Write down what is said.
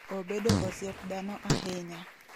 Obedo osiep dhano ahinya.